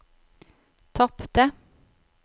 tapte